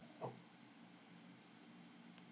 Tóku þeir eitthvað hjá honum?